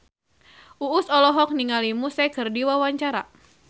Uus olohok ningali Muse keur diwawancara